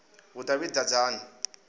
vhudavhidzani